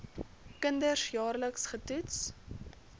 kinders jaarliks getoets